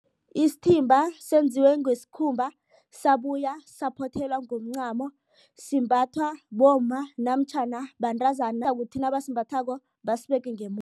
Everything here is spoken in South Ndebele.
Isithimba senziwe ngesikhumba sabuya saphothelwa ngomncamo simbathwa bomma namtjhana bantazana kuzokuthi nabasimbathako basibeke